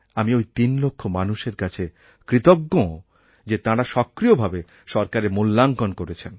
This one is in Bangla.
আমি ওই তিন লক্ষ মানুষের কাছে কৃতজ্ঞ যে তাঁরা সক্রিয়ভাবে সরকারের মূল্যাঙ্কণ করেছেন